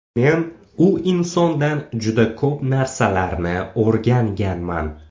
Men u insondan juda ko‘p narsalarni o‘rganganman.